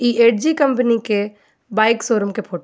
इ एट जी कम्पनी के बाइक शोरूम के फोटो बा.